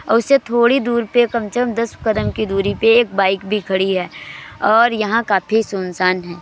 औ इससे थोड़ी दूर पे कम से कम दस कदम की दुरी पे एक बाइक भी खड़ी है और यहाँ काफी सुनसान है।